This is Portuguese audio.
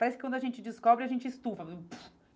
Parece que quando a gente descobre, a gente estufa.